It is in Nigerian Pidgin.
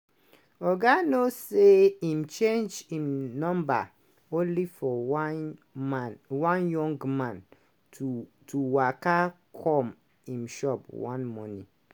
oga nuur say im change im number only for one man one young man to to waka come im shop one morning.